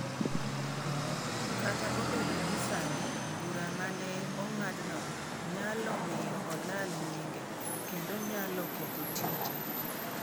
Kata obedo ni sani bura ma ne ong'adno nyalo miyo olal nyinge, kendo nyalo ketho tije.